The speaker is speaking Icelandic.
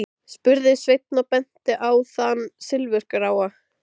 spurði Sveinn og benti á þann silfurgráa.